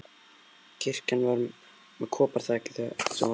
Kirkjan var með koparþaki sem var orðið grænt.